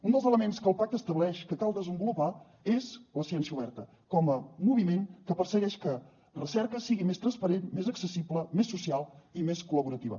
un dels elements que el pacte estableix que cal desenvolupar és la ciència oberta com a moviment que persegueix que la recerca sigui més transparent més accessible més social i més col·laborativa